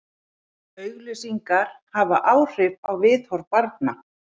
Auglýsingar hafa áhrif á viðhorf barna.